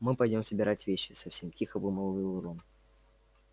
мы пойдём собирать вещи совсем тихо вымолвил рон